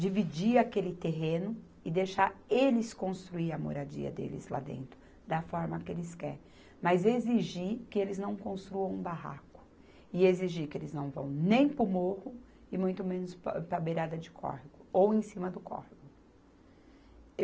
dividir aquele terreno e deixar eles construir a moradia deles lá dentro da forma que eles quer, mas exigir que eles não construam um barraco e exigir que eles não vão nem para o morro e muito menos pa, para a beirada de córrego ou em cima do córrego.